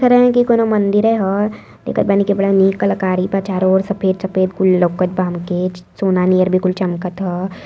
ख् रहे की कौनों मंदिरे ह। देखत बानी की बड़ा निक कलाकारी बा चारो ओर सफेद-सफेद कुल लउकत बा हमके। च् सोना नियर भी कुल चमकत ह।